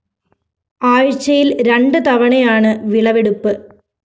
ആഴ്ച്ചയില്‍ രണ്ട് തവണയാണ് വിളവെടുപ്പ്